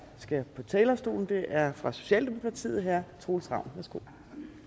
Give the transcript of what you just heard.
skal på talerstolen er fra socialdemokratiet herre troels ravn værsgo